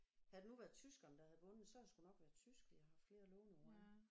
Havde det nu været tyskerne der havde vundet så havde det sgu nok været tysk vi havde haft flere låneord af